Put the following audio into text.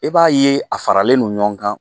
E b'a ye a faralen no ɲɔgɔn kan